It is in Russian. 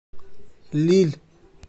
лилль